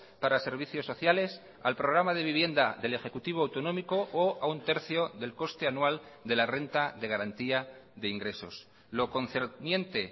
para servicios sociales al programa de vivienda del ejecutivo autonómico o a un tercio del coste anual de la renta de garantía de ingresos lo concerniente